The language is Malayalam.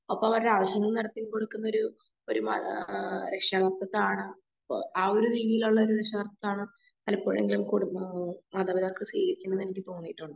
ഒപ്പം അവരുടെ ആവശ്യങ്ങളും നടത്തി കൊടുക്കുന്നൊരു ആ മാതാ ഒരു രക്ഷാർത്ത സ്ഥാനം ആ ഒരു രീതിയിലുള്ള രക്ഷാർത്ത സ്ഥാനം പലപ്പോഴും മാതാപിതാക്കൾ ചെയ്യിക്കുന്നുണ്ടെന്ന് എനിക്ക് തോന്നിയിട്ടുണ്ട്.